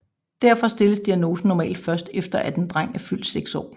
Derfor stilles diagnosen normalt først efter at en dreng er fyldt 6 år